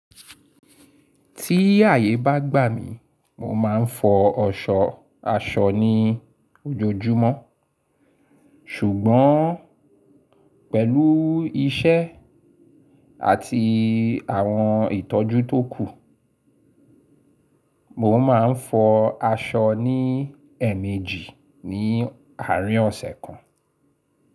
Tí ààyè bá gbà mí, mo máa ń fọ aṣọ aṣọ ní ojoojúmọ́. Ṣùgbọ́n pẹ̀lú iṣẹ́ àti àwọn ìtọ́jú tó kù, mo máa ń fọ aṣọ ní ẹ̀ẹ̀mejì ní àárín ọ̀sẹ̀ kan.